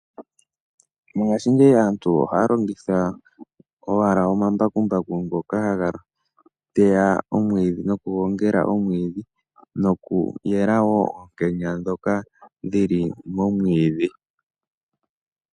Mongashi ngeyi aantu ohaya longitha owala omambakumbaku ngoka haga teya omwiidhi noku gongela omwiidhi noku yelawo oonkenya ndhoka dhili momwiidhi.